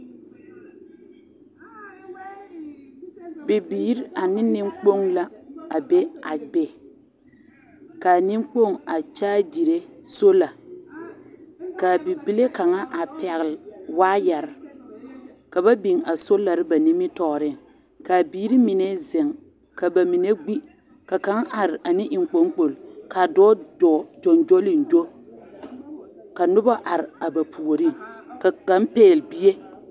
Bibiiri ane neŋkpoŋ la a be a be kaa neŋkpoŋ a kyɛgere sola ka a bibilee kaŋa a pɛgle wɔɔyaare ka ba biŋ a solare ba nimitoɔre ka a biiri mine zeŋ ka bamine gbi ka kaŋ are ane eŋkpaŋ kpole ka dɔɔ dɔɔ gyogyolegyo ka noba are a ba puoriŋ ka kaŋ pɛgle bie